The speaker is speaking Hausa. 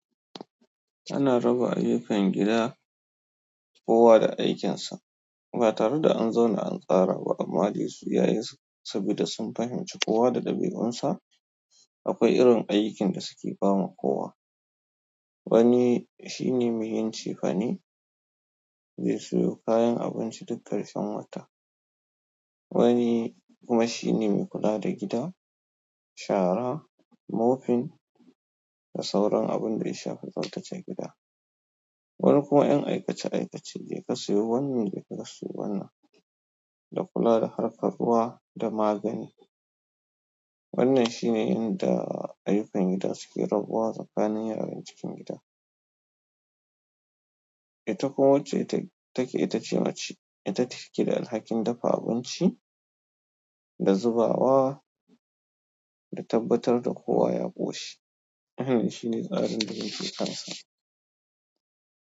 Ana raba ayyukan gida kowa da aikinsa. Ba tare da an zauna an tsara ba amma dai su yayin su saboda sun fahimci kowa da ɗabi'unsa. Akwai irin aikin da suke bama kowa. Wani shine me yin cefane, me sayo kayan abinci duk ƙarshen wata. Wani kuma shi ne mai kula da gida, shara, mofin. Da sauran abun da ya shafi tsaftace gida. Wani kuma 'yan aikace aikace, je ka sayo wannan, je ka ka sayo wannan, da kula da harkar ruwa da magani. Wannan shi ne yanda ayyukan gida suke rabuwa tsakanin yaran cikin gida. Ita kuma wacce take ita ce mace. Ita ce take da alhakin dafa abinci da zubawa da tabbatar da kowa ya ƙoshi. Wannan shi ne tsarin da yake kansa.